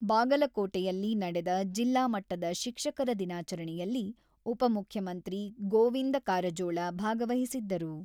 ಬಾಗಲಕೋಟೆಯಲ್ಲಿ ನಡೆದ ಜಿಲ್ಲಾ ಮಟ್ಟದ ಶಿಕ್ಷಕರ ದಿನಾಚರಣೆಯಲ್ಲಿ ಉಪಮುಖ್ಯಮಂತ್ರಿ ಗೋವಿಂದ ಕಾರಜೋಳ ಭಾಗವಹಿಸಿದ್ದರು.